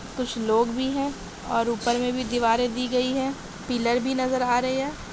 कुछ लोग भी है और ऊपर मे भी दीवारे दी गई है पिलर भी नजर आ रहे हैं।